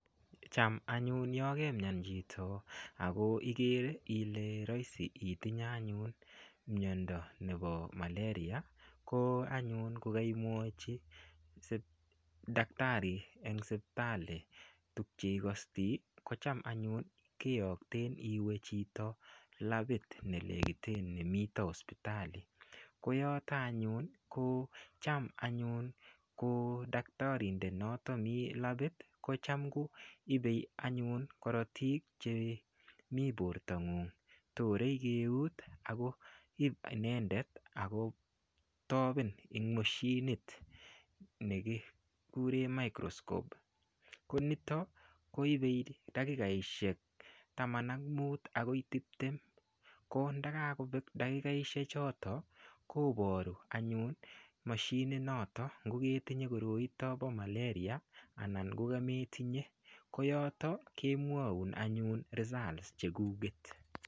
Cham anyun ya kemian chito ak ikere anyun kole imuch itinye mindo nepo Malaria ko anyun ko kaimwachi dakitari tuguk che ikastai ko cham anyun kiyokten iwe labit nemitai ne nekiten ne miten sipitali ko yotok anyun kocdaktarindet notok mi labit ko cham anyun ko daktarindet notok mi labit ko cham koipei anyun karatiik che mi portong'ung'. Torei keut ako ip inende ako tapen en mashinit ne kikure microscope ko ito anyun ko ipei dakikaishek taman ak mut akoi tiptem. Ko ndakakopek dakikikoshechotok koparu anyun ngo ketinye koroito pa Malaria anan ko kametinye. Ko yotok kemwaun anyun results chekuket.